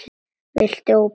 Viltu ópal?